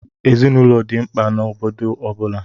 Ezinaụlọ dị mkpa n'obodo ọ bụla.